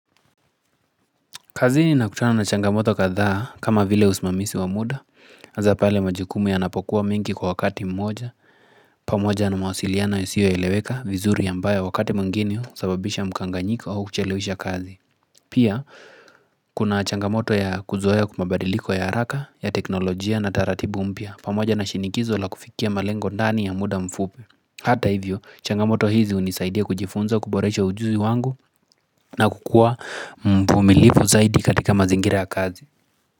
Kazini na kutana na changamoto katha kama vile usmamisi wa muda haza pale majukumu yanapokuwa mengi kwa wakati mmoja. Hhh pamoja na mawasiliana yasio eleweka vizuri ambaya wakati mwingine husababisha mkanganyiko au kuchelewisha kazi. Pia hhh kuna changamoto ya kuzoea kmabadiliko ya araka ya teknolojia na taratibu mpya pamoja na shinikizo la kufikia malengo ndani ya muda mfupi Hata hivyo changamoto hizi hunisaidia kujifunza kuboresha ujuzi wangu na kukua mvumilivu zaidi katika mazingira ya kazi.